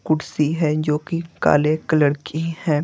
कुर्सी है जो कि काले कलर की हैं।